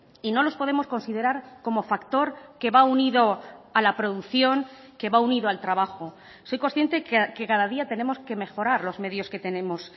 y no los podemos considerar como factor que va unido a la producción que va unido al trabajo soy consciente que cada día tenemos que mejorar los medios que tenemos